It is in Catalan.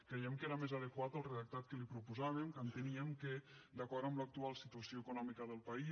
creiem que era més adequat el redactat que li proposàvem que enteníem que d’acord amb l’actual situació econòmica del país